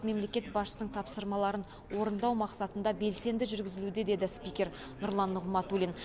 мемлекет басшысының тапсырмаларын орындау мақсатында белсенді жүргізілуде деді спикер нұрлан нығматулин